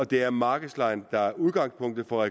det er markedslejen der er udgangspunktet for